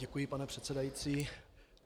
Děkuji, pane předsedající.